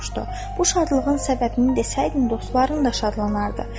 Bu şadlığın səbəbini desəydin, dostların da şadlanardı.